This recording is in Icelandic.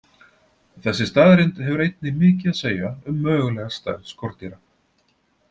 Þessi staðreynd hefur einnig mikið að segja um mögulega stærð skordýra.